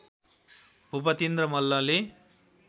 भूपतिन्द्र मल्लले